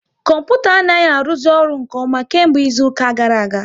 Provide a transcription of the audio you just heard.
Kọmputa anaghị aruzi ọrụ nke ọma kemgbe izuka gara aga